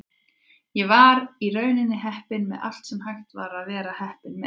Ég var í rauninni heppinn með allt sem hægt var að vera heppinn með.